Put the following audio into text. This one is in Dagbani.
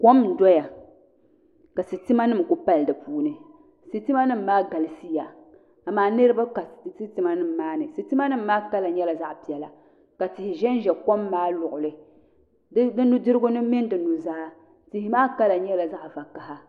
Kom n doya ka sitima nim ku pali di puuni sitima nim maa galisiya amaa niraba ka sitima nim maa ni sitima nim maa kanli nyɛla zaɣ piɛla ka tihi ʒɛnʒɛ kom maa luɣuli di nudirigu ni mini di nuzaa tihi maa kala nyɛla zaɣ vakaɣa